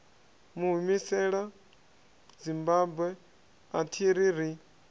humisela zimbabwe athi ri ri